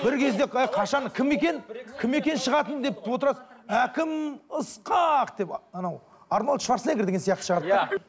бір кезде қашан кім екен кім екен шығатын деп отырасың әкім ысқақ деп анау арнольд шварцнегр деген сияқты шығарды да иә